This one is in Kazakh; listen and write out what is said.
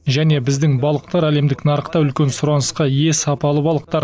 және біздің балықтар әлемдік нарықта үлкен сұранысқа ие сапалы балықтар